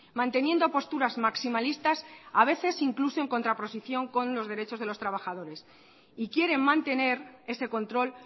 manteniendo posturas maximalistas a veces incluso en contraposición con los derechos de los trabajadores y quieren mantener ese control